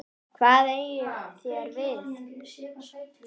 Hvað eigið þér við?